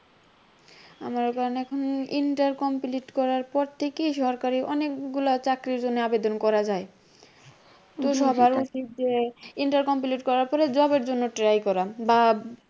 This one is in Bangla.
আমার এখন inter complete করার পর থেকেই সরকারি অনেকগুলা চাকরির জন্য আবেদন করা যায় তো সবার উচিত যে inter complete করার পর job এর জন্য try করা বা